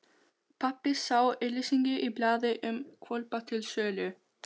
Pabbi sá auglýsingu í blaði um hvolpa til sölu.